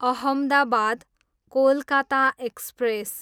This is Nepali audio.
अहमदाबाद, कोलकाता एक्सप्रेस